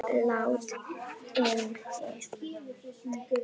Hann lá inni!